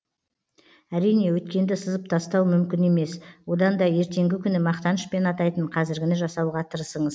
әрине өткенді сызып тастау мүмкін емес одан да ертеңгі күні мақтанышпен атайтын қазіргіні жасауға тырысыңыз